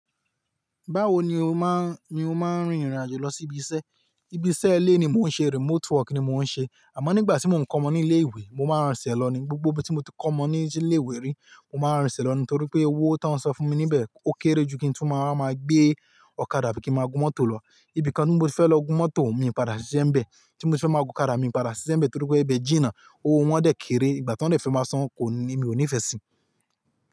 Báwo ni o máa, ni o máa ń rin ìrìn àjò lọ sí ibi iṣẹ́? Ibi iṣẹ́ ilé ni mò ń ṣe, remote work ni mò ń ṣe. Àmọ́ nígbà tí mò ń kọ́ ọmọ ní ilé ìwé, mo máa ń rinsè lọ ní, gbogbo bí tí mo ti kọ́ ọmọ ní ilé ìwé rí, mo máa ń rinsè lọ ní, torí pé owó tóń san fún mi níbẹ̀ ó kéré ju kí n tun máa wa, máa gbé ọ̀kadà abí kí n máa gún mọ́tò lọ. Ibi kan ni mo fẹ́ lọ gún mọ́tò, mi padà ṣíṣe ń bẹ. Tí mo ti fẹ́ máa gún ọ̀kadà, mi padà ṣíṣe ń bẹ torí pé ibi ìjìnnà, owó wọn dẹ́ kéré, ìgbà tí wọ́n dẹ́ fẹ́ máa san kò ní, mi ò nífẹ̀ẹ́ sí.